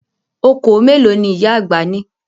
Okòó mélòó ni ìyá àgbà ní?